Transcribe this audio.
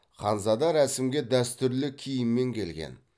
ханзада рәсімге дәстүрлі киіммен келген